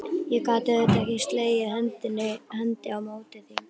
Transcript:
Ég gat auðvitað ekki slegið hendi á móti því.